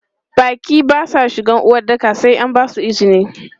Baƙi ba su shiga uwaɗɗaka sai an basu izini.